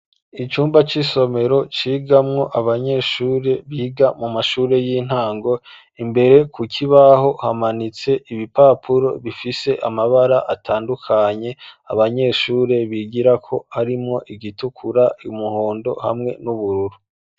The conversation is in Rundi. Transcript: Icumba c'isomero cigamwo abanyeshure biga mu mashure y'intango imbere ku kibaho hamanitse ibipapuro bifise amabara atandukanye abanyeshure bigirako harimwo iritukura iry'umuhondo hamwe n'ubururu.